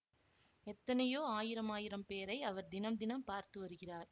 எத்தனையோ ஆயிரமாயிரம் பேரை அவர் தினம் தினம் பார்த்து வருகிறார்